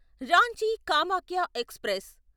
Ranchi Kamakhya express